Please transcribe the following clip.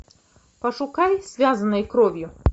пошукай связанные кровью